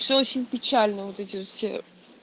все очень печально вот эти все